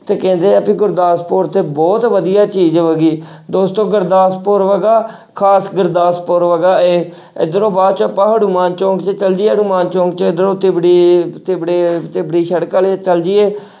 ਤੇ ਕਹਿੰਦੇ ਆ ਵੀ ਗੁਰਦਾਸਪੁਰ 'ਚ ਬਹੁਤ ਵਧੀਆ ਚੀਜ਼ ਹੈਗੀ ਦੋਸਤੋ ਗੁਰਦਾਸਪੁਰ ਹੈਗਾ ਖ਼ਾਸ ਗੁਰਦਾਸਪੁਰ ਹੈਗਾ ਇਹ ਇੱਧਰੋਂ ਬਾਅਦ 'ਚ ਆਪਾਂ ਹਨੂੰਮਾਨ ਚੌਂਕ 'ਚ ਚਲੇ ਜਾਈਏ ਹਨੂੰਮਾਨ ਚੌਂਕ 'ਚ ਇੱਧਰੋਂ ਤਿਬੜੀ ਤਿਬੜੇ ਤਿਬੜੀ ਸੜਕ ਆਲੇ ਚਲੇ ਜਾਈਏ